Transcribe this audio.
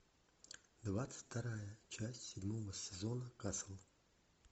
двадцать вторая часть седьмого сезона касл